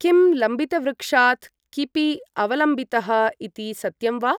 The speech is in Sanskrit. किम् लम्बितवृक्षात् किपि अवलम्बितः इति सत्यं वा?